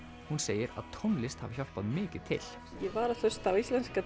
hún segir að tónlist hafi hjálpað mikið til ég var að hlusta á íslenska